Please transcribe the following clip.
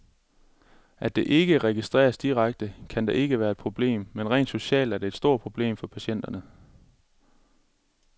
At det ikke registreres direkte, kan da ikke være et problem, men rent socialt er det et stort problem for patienterne.